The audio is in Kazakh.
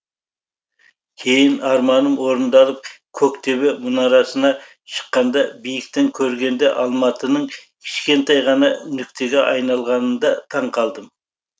кейін арманым орындалып көк төбе мұнарасына шыққанда биіктің көргенде алматының кішкентай ғана нүктеге айналғанында таңқалдым